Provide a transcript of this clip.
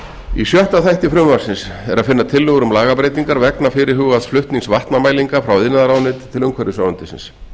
í sjötta þætti frumvarpsins er að finna tillögur um lagabreytingar vegna fyrirhugaðs flutnings vatnamælinga frá iðnaðarráðuneyti til umhverfisráðuneytisins